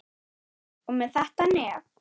Og með þetta nef.